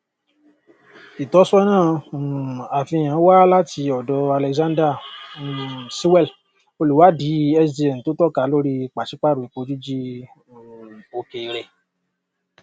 ìtọsọnà um àfihàn wá láti ọdọ alexander um sewell olùwádìí sdn tó tọka lórí pàṣípàrọ epo jíjí um òkèèrè